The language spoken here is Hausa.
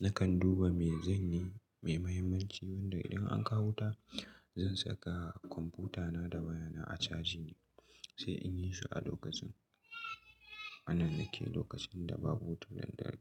Nakan duba me zanyi mai muhimmanci wanda in an kawo wuta, zan saka kwamfutana da wayana a caji ne, sai in yi shi a lokacin. Ana nan yake lokacin da babu wutar lantarki.